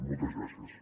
moltes gràcies